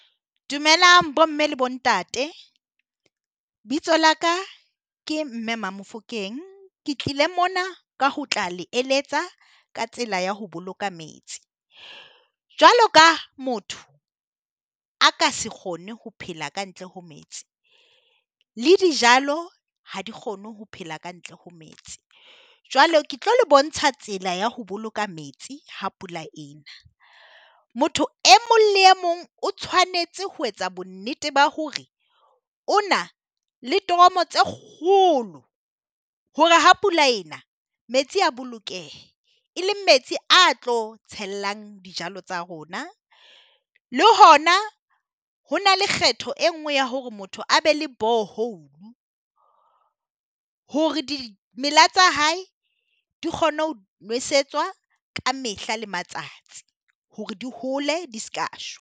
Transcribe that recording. Dumelang bomme le bo ntate bitso la ka ke mme Mamofokeng ke tlile mona ka ho tla le eletsa ka tsela ya ho boloka metsi, jwalo ka motho a ka se kgone ho phela ka ntle ho metsi le dijalo ha di kgone ho phela ka ntle ho metsi. Jwale ke tlo bontsha tsela ya ho boloka metsi ha pula e na, motho e mong le e mong o tshwanetse ho etsa bonnete ba hore o na le toromo tse kgolo hore ha pula e na metsi a bolokehe, e leng metsi a tlo tshellang dijalo tsa rona. Le hona ho na le kgetho e nngwe ya hore motho a be le borehole hore dimela tsa hae di kgone ho nosetswa ka mehla le matsatsi hore di hole di ska shwa.